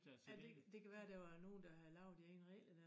Ja det kan det kan være der var nogen der havde lavet de egne regler dér